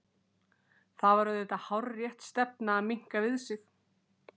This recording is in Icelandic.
Það var auðvitað hárrétt stefna að minnka við sig.